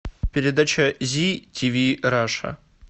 передача зи тв раша